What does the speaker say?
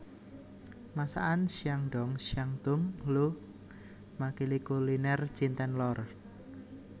Masakan Shandong Shantung Lu makili kuliner Cinten lor